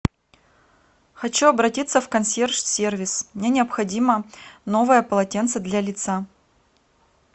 хочу обратиться в консьерж сервис мне необходимо новое полотенце для лица